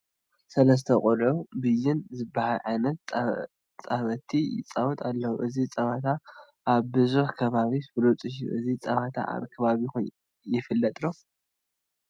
ሰለስተ ቆልዑ ብይን ዝብሃል ዓይነት ፃውቲ ይፃወቱ ኣለዉ፡፡ እዚ ፀወታ ኣብ ብዙሕ ከባቢ ፍሉጥ እዩ፡፡ እዚ ፀወታ ኣብ ከባቢኹም ይፍለጥ ድዩ?